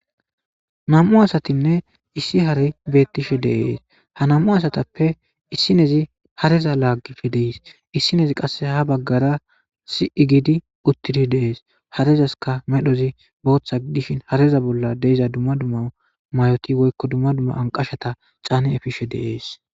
nam7u asatinne issi hari beettishe deees hanam7u asatappe issinezi hareza laaggifi dees issinezi qasse ha baggara si7i gidi uttidi deees harezaska medhozi booththa giddishin hareza bolla deiza dumma dumma mayoti woykko dumma dumma anqashata caani efishe deees